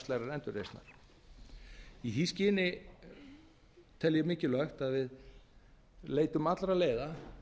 efnahagslegrar endurreisnar í því skyni tel ég mikilvægt að við leitum allra leiða